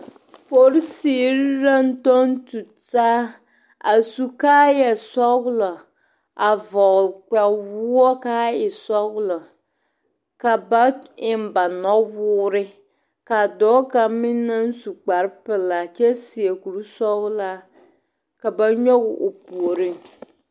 Polisiri la a tuŋ tutaa a su kaayasɔglɔ a vɔgle kpawoɔ ka a e sɔglɔ ka ba eŋ ba nɔwoore ka dɔɔ kaŋ meŋ naŋ su kparepelaa a kyɛ seɛ kuri sɔglaa ka ba nyɔge o puoriŋ.